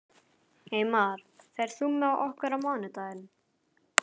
Eymar, ferð þú með okkur á mánudaginn?